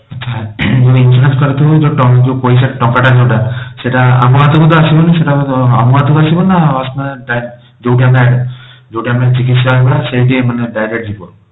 ଆଛା ଯଦି insurance କରିଥିବ ଯୋଉ ପଇସା ଯୋଊ ଟଙ୍କାଟା ଯୋଊଟା ସେଟା ଆମ ହାତ କୁ ତ ଆସିବନି ସେଟା ବୋଧେ ମ ହାତ କୁ ଅସିବ ନା ମାନେ ଯୋଉଠି ଆମେ ଯୋଉଠି ଆମେ ଚିକିତ୍ସା ହେବା ସେଇଠି ମାନେ direct ଯିବ?